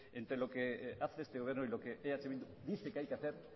entre lo que hace el gobierno y lo que eh bildu dice que hay que hacer